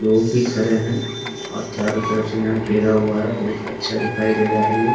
लोग दिख रहे हैं और चारों तरफ से यहाँ घेरा हुआ है बहुत अच्छा दिखाई दे रहा है ये ।